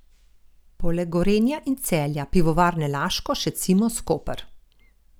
Poleg Gorenja in Celja Pivovarne Laško še Cimos Koper.